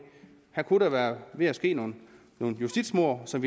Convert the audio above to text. der kunne være ved at ske nogle justitsmord som